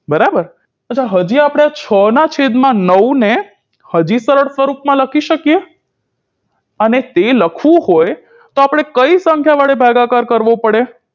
બરાબર હજી આપણે છ ના છેદમાં નવને હજી સરળ સ્વરૂપમાં લખી શકીએ અને તે લખવું હોય તો આપણે કઈ સંખ્યા વડે ભાગાકાર કરવો પડે